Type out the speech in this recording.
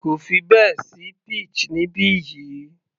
Kò fi bẹ́ẹ̀ sí peach níbi yìí